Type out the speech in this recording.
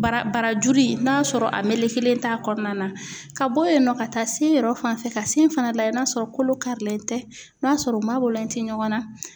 Bara barajuru n'a sɔrɔ a melekelen t'a kɔnɔna na ka bɔ yen nɔ ka taa se yɔrɔ fan fɛ ka sin fana lajɛ n'a sɔrɔ kolo karilen tɛ n'a sɔrɔ u ma bɔlen tɛ ɲɔgɔn na.